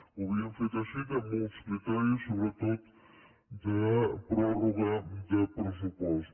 ho havíem fet així amb uns criteris sobretot de pròrroga de pressupost